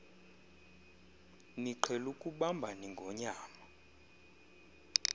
niqhel ukubamb ingonyam